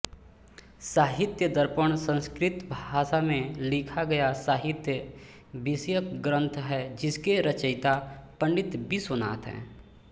साहित्यदर्पण संस्कृत भाषा में लिखा गया साहित्य विषयक ग्रन्थ है जिसके रचयिता पण्डित विश्वनाथ हैं